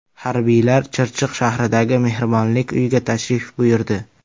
Harbiylar Chirchiq shahridagi Mehribonlik uyiga tashrif buyurdi.